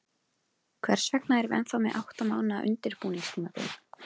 Hvers vegna erum við ennþá með átta mánaða undirbúningstímabil?